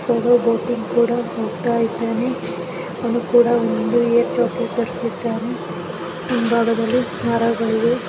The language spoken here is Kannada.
ಇವನು ಬೋಟಿಂಗ್ ಕೂಡ ಹೋಗ್ತಾ ಇದ್ದಾನೆ ಹಿಂಭಾಗದಲ್ಲಿ ಮರಗಳಿವೆ .